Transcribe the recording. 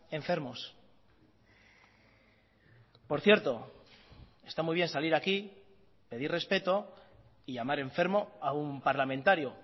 enfermos por cierto está muy bien salir aquí pedir respeto y llamar enfermo a un parlamentario